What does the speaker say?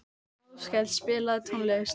Áskell, spilaðu tónlist.